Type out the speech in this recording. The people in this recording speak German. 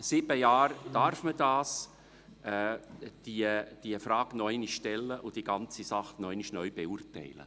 Nach sieben Jahren darf man diese Frage noch einmal stellen und diese Sache noch einmal neu beurteilen.